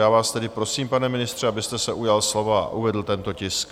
Já vás tedy prosím, pane ministře, abyste se ujal slova a uvedl tento tisk.